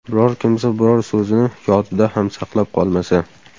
Biror kimsa biror so‘zini Yodida ham saqlab qolmasa.